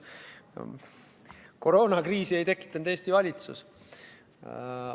Koroonakriisi ei tekitanud Eesti valitsus.